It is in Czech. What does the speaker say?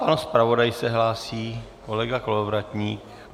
Pan zpravodaj se hlásí, kolega Kolovratník.